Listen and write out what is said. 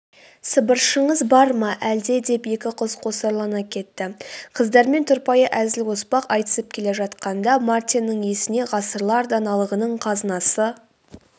сыбыршыңыз бар ма әлде деп екі қыз қосарлана кетті.қыздармен тұрпайы әзіл-оспақ айтысып келе жатқанда мартиннің есіне ғасырлар даналығының қазынасы